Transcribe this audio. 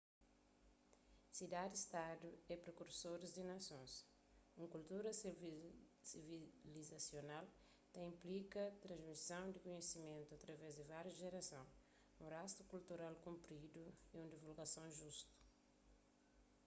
sidadis-stadu é prekursoris di nasons un kultura sivilizasional ta inplika transmison di kunhisimentu através di várius jerason un rastu kultural kunpridui y un divulgason justu